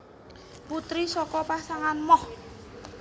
Putri saka pasangan Moch